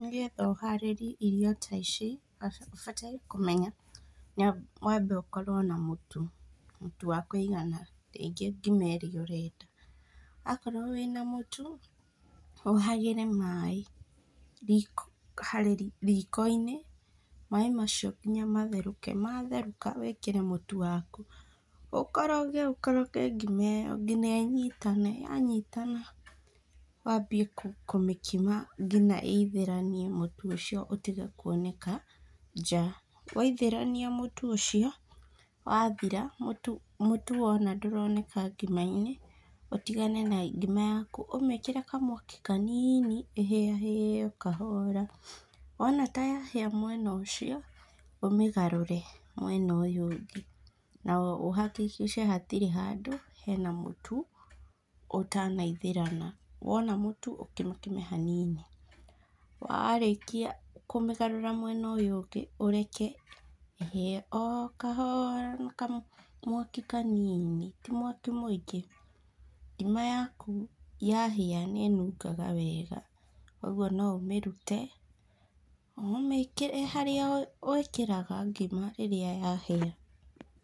Nĩgetha ũharĩrie irio ta ici , ũbataire kũmenya, wambe ũkorwo na mũtu , mũtu wa kũigana, ũngĩruga ngima ĩrĩa ũrenda, akorwo wĩna mũtu ũhagĩre maaĩ riko harĩ riko-inĩ , maaĩ macio nginya matherũke, matherũka wĩkĩre mũtu waku ũkoroge ũkoroge ngima ĩyo nginya ĩnyitane, yanitana wambie kũmĩkima nginya ĩithĩranie mũtu ũcio ũtige kwoneka nja, waithĩrania mũtu ũcio, wathira mũtu , mũtu waona ndũroneka ngima-inĩ, ũtigane na ngima yaku, ũmĩkĩre kamwaki kanini ĩhĩahĩe kahora, wona ta yahĩa mwena ũcio, ũmĩgarũre mwena ũyũ ũngĩ na ũhakikice hatirĩ handũ hena mũtu ũtana ithĩrana, wona mũtu ũkimakime hanini, warĩkia kũmĩgarũra mwena ũyũ ũngĩ ũreke ĩhĩe okahora na kamwaki kanini , ti mwaki mũingĩ, ngima yaku yahĩa nĩ ĩnungaga wega , ũguo no ũmĩrute ,ũmĩkĩre harĩa wĩkĩraga ngima rĩrĩa yahĩa.